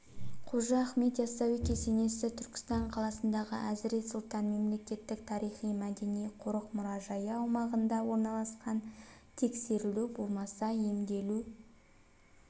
қожа ахмет яссауи кесенесі түркістан қаласындағы әзірет сұлтан мемлекеттік тарихи-мәдени қорық-мұражайы аумағында орналасқан тексерілу болмаса емделу